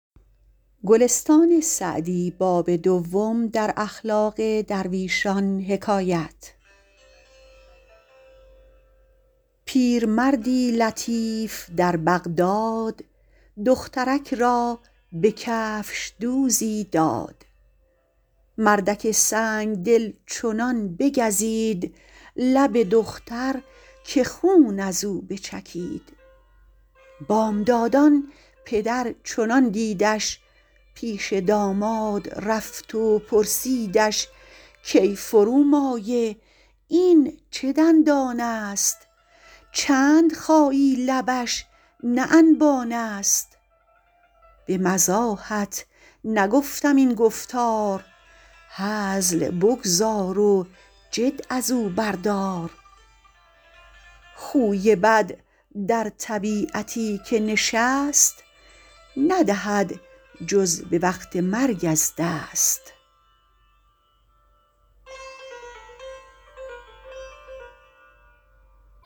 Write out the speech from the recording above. پیرمردی لطیف در بغداد دخترک را به کفشدوزی داد مردک سنگدل چنان بگزید لب دختر که خون از او بچکید بامدادان پدر چنان دیدش پیش داماد رفت و پرسیدش کای فرومایه این چه دندان است چند خایی لبش نه انبان است به مزاحت نگفتم این گفتار هزل بگذار و جد از او بردار خوی بد در طبیعتی که نشست ندهد جز به وقت مرگ از دست